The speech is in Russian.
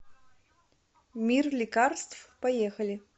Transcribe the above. мир лекарств поехали